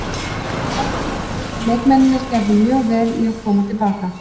Þetta var frábær leikur og leikmennirnir gerðu mjög vel í að koma til baka.